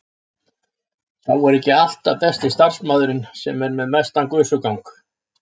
Sá er ekki alltaf besti starfsmaðurinn sem er með mestan gusugang.